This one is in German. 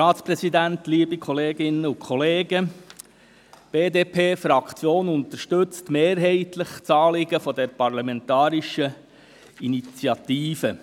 Die BDP-Fraktion unterstützt mehrheitlich das Anliegen der parlamentarischen Initiative.